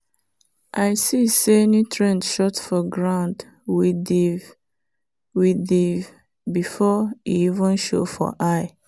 i see say nutrient short for ground with ndvi with ndvi before e even show for eye.